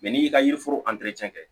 n'i y'i ka yiri foro kɛ